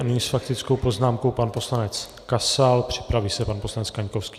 A nyní s faktickou poznámkou pan poslanec Kasal, připraví se pan poslanec Kaňkovský.